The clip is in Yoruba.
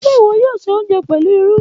Ṣe iwọ yoo ṣe ounjẹ pẹlu lru?